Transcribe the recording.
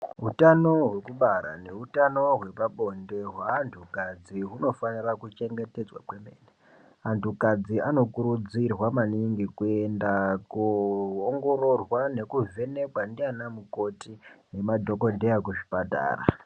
Utano hwekubara neutano hwepabonde hweantukadzi hunofanira kuchengetedzwa kwemene. Antukadzi anokurudzirwa maningi kuenda koongororwa nekuvhenekwa ndianamukoti nemadhokodheya kuzvipatara.